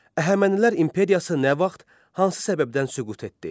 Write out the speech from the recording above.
Əhəmənilər imperiyası nə vaxt, hansı səbəbdən süqut etdi?